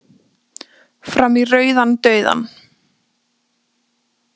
Fram í rauðan dauðann